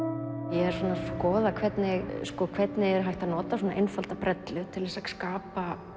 er að skoða hvernig hvernig er hægt að nota svona einfaldar brellur til þess að skapa